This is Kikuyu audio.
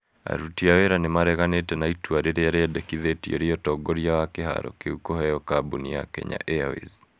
Aruti a wĩra nĩ mareganĩte na itua rĩrĩa rĩendekithetio rĩa ũtongoria wa kĩharo kĩu kũheo kambũni ya Kenya Airways .